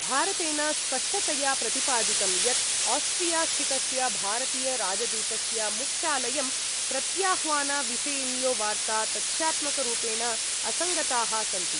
भारतेन स्पष्टतया प्रतिपादितं यत् आस्ट्रियास्थितस्य भारतीयराजदूतस्य मुख्यालयं प्रत्याह्वानविषयिण्यो वार्ता तथ्यात्मकरूपेण असङ्गताः सन्ति।